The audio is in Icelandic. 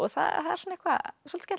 það er eitthvað svolítið